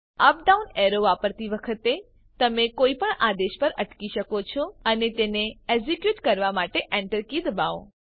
up down arrow વાપરતી વખતે તમે કોઈ પણ આદેશ પર અટકી શકો છો અને તેને એક્ઝિક્યુટ કરવા માટે Enter કી દબાવો